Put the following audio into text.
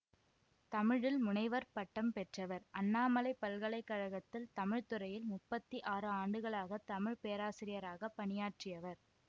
தமிழில் முனைவர் பட்டம் பெற்றவர் அண்ணாமலை பல்கலை கழகத்தில் தமிழ்த்துறையில் முப்பத்தி ஆறு ஆண்டுகளாக தமிழ் பேராசிரியராக பணியாற்றியவர்